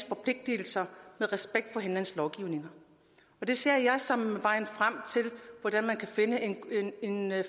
forpligtelser med respekt for hinandens lovgivning det ser jeg som vejen frem til hvordan man kan finde